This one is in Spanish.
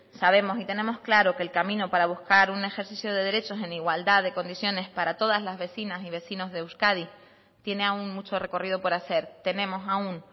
sabemos y tenemos claro que el camino para buscar un ejercicio de derechos en igualdad de condiciones para todas las vecinas y vecinos de euskadi tiene aún mucho recorrido por hacer tenemos aún